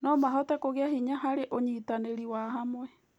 No mahote kũgĩa hinya harĩ ũnyitanĩri wa hamwe.